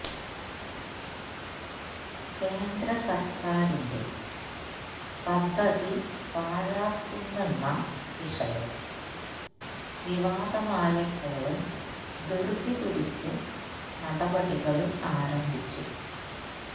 കേന്ദ്ര സര്ക്കാരിന്റെ പദ്ധതി പാഴാക്കുന്നെന്ന വിഷയം വിവാദമായപ്പോള് ധൃതിപിടിച്ച് നടപടികള് ആരംഭിച്ചു